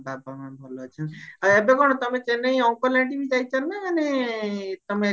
ବାବା ମା ଭଲ ଅଛନ୍ତି ଆଉ ଏବେ କଣ ଚେନ୍ନାଇ uncle auntie ଯାଇଚ ନା ମାନେ ତମେ